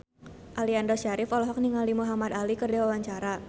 Aliando Syarif olohok ningali Muhamad Ali keur diwawancara